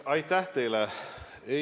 Aitäh teile!